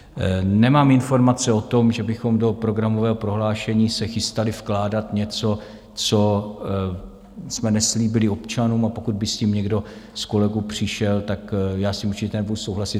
Nemám informace o tom, že bychom do programového prohlášení se chystali vkládat něco, co jsme neslíbili občanům, a pokud by s tím někdo z kolegů přišel, tak s tím určitě nebudu souhlasit.